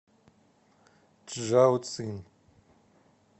чжаоцин